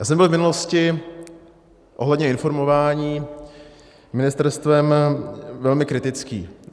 Já jsem byl v minulosti ohledně informování ministerstvem velmi kritický.